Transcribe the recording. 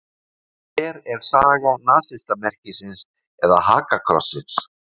Hver er saga nasistamerkisins eða hakakrossins?